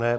Ne.